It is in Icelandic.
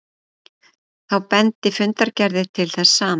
Þá bendi fundargerðir til þess sama